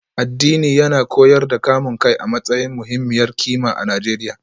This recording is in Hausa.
Addini yana koyar da kamun kai a matsayin muhimmiyar kima a Najeriya